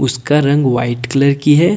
उसका रंग white colour की है।